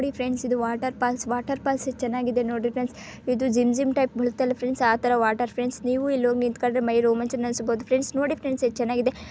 ನೋಡಿ ಫ್ರೆಂಡ್ಸ್ ಇದು waterfalls waterfalls ಎಷ್ಟು ಚೆನ್ನಾಗಿದೆ ನೋಡಿ ಫ್ರೆಂಡ್ಸ್ ಇದು ಜಿಮ್ ಜಿಮ್ ಟೈಪ್ ಬೀಳುತ್ತಲ್ಲ ಫ್ರೆಂಡ್ಸ್ ಆ ತರ ವಾಟರ್ ಫ್ರೆಂಡ್ಸ್ ನೀವು ಇಲ್ಲಿ ಹೋಗಿ ನಿಂತ್ಕೊಂಡ್ರೆ ಮೈಯಲ್ಲ ರೋಮಾಂಚನ ಅನಿಸಬಹುದು ಫ್ರೆಂಡ್ಸ್ ನೋಡಿ ಫ್ರೆಂಡ್ಸ್ ಎಷ್ಟು ಚೆನ್ನಾಗಿದೆ.